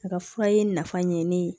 A ka fura ye nafa ɲɛ ne ye